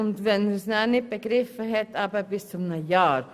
Sollte er es nicht begriffen haben, dauert die Frist bis zu einem Jahr.